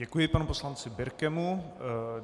Děkuji panu poslanci Birkemu.